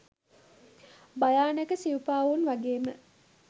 භයානක සිවුපාවුන් වගේම